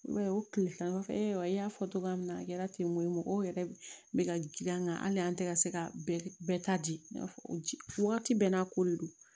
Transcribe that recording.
I b'a ye o tile tan kɔfɛ i y'a fɔ cogoya min na a kɛra ten tɔn ye mɔgɔw yɛrɛ bɛ ka ji an ka hali an tɛ ka se ka bɛɛ ta di wagati bɛɛ n'a ko de don